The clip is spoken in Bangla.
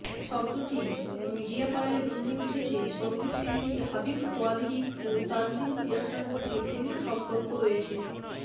সম্প্রতি মিডিয়াপাড়ায় গুঞ্জন উঠেছে সঙ্গীতশিল্পী হাবিব ওয়াহিদ ও তানজিন তিশার মধ্যে প্রেমের সম্পর্ক রয়েছে